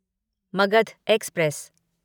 Magadh express